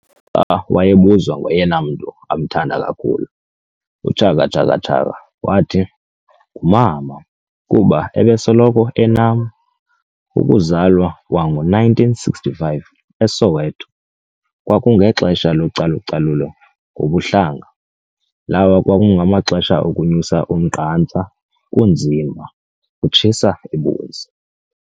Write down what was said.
Xa wayebuzwa ngoyena mntu amthamda kakhulu, uChaka Chaka Chaka wathi "Ngumama kuba ebesoloko enam. Ukuzalwa kwango-1965 eSoweto, kwakungexesha localucalulo ngobuhlanga, lawo kwakungamaxesha okunyusa umnqantsa, kunzima, kutshisa ibunzi.